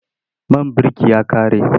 Man birki ya ƙare.